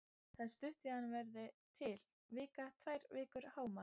Það er stutt í að hann verði til, vika, tvær vikur hámark.